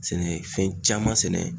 Sɛnɛfɛn caman sɛnɛ.